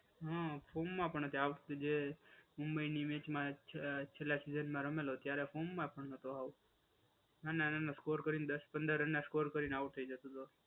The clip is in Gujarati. હા, ફોર્મ માં પણ આવશે જે મુંબઈની મેચમાં છેલ્લા સીજનમાં રમેલો ત્યારે ફોર્મમાં પણ નહોતો આવતો. નાના નાના સ્કોર કરીને દસ પંદર રનમાં આઉટ થઈ જતો હતો.